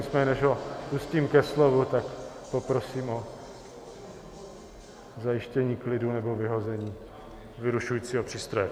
Nicméně než ho pustím ke slovu, tak poprosím o zajištění klidu nebo vyhození vyrušujícího přístroje.